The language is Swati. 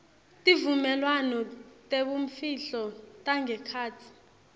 tivumelwano tebumfihlo tangekhatsi